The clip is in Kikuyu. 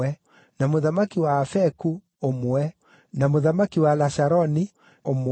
na mũthamaki wa Afeku, ũmwe, na mũthamaki wa Lasharoni, ũmwe,